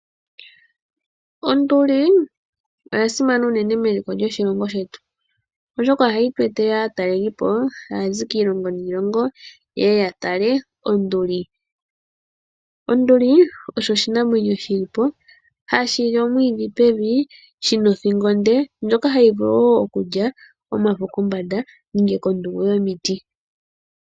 Onduli oya simana unene meliko lyoshilongo shetu oshoka ohayi tu etele aatalelipo taa zi kiilongo niilongo ye ya tale onduli. Onduli osho oshinamwenyo shi li po hashi li omwiidhi pevi shina othingo onde ndjoka hayi vulu wo okulya omafo kombanda nenge kondungu yomiti.